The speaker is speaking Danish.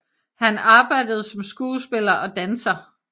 Han arbejdede som skuespiller og danser